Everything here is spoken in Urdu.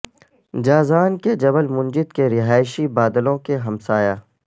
جازان کے جبل منجد کے رہائشی بادلوں کے ہمسایہ